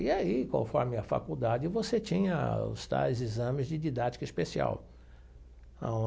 E aí, conforme a faculdade, você tinha os tais exames de didática especial ãh.